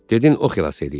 Dedin oxilas eləyib.